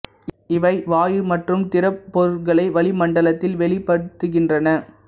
இவை வாயு மற்றும் திடப் பொருட்களை வளி மண்டலத்தில் வெளிப்படுத்துகின்றன